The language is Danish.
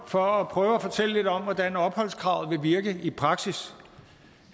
for at prøve at fortælle lidt om hvordan opholdskravet vil virke i praksis